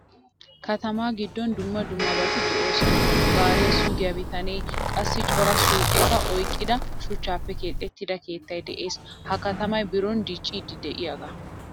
Katama giddon dumma dummabati de'oosona. Gaariyaa sugiyaa bitanee qassi cora suuqetta oyqqida shuchchappe keexettida keettay de'ees. Ha katamay biron dicciidi de'iyaga.